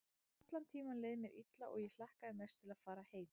Allan tímann leið mér illa og ég hlakkaði mest til að fara heim.